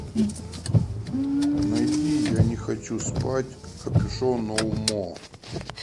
найди я не хочу спать копюшон ноу мо